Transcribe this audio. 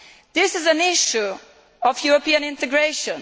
This is an issue of European integration.